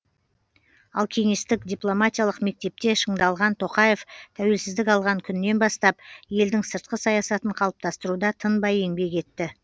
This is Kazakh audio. ал кеңестік дипломатиялық мектепте шыңдалған тоқаев тәуелсіздік алған күннен бастап елдің сыртқы саясатын қалыптастыруда тынбай еңбек етті